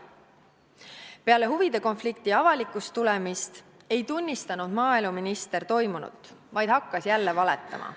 Peale huvide konflikti avalikuks tulemist ei tunnistanud maaeluminister toimunut, vaid hakkas jälle valetama.